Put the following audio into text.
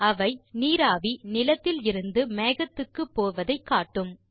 அவை நீராவி நிலத்தில் இருந்து மேகத்துக்கு போவதை காட்டும்